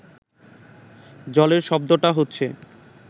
জলের শব্দটা হচ্ছে